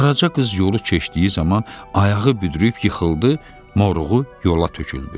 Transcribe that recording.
Qaraca qız yolu keçdiyi zaman ayağı büdrüyüb yıxıldı, moruğu yola töküldü.